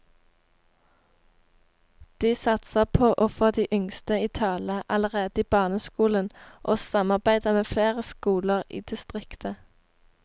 De satser på å få de yngste i tale allerede i barneskolen og samarbeider med flere skoler i distriktet.